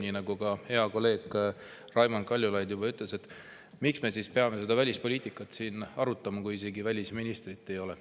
Nii nagu hea kolleeg Raimond Kaljulaid juba ütles, miks me siis peame seda välispoliitikat arutama, kui isegi välisministrit siin ei ole.